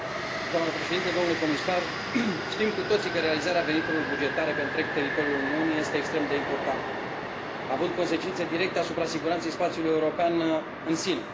Doamnă președintă, domnule comisar, știm cu toții că realizarea veniturilor bugetare pe întreg teritoriul Uniunii este extrem de importantă, având consecințe directe asupra siguranței spațiului european în sine.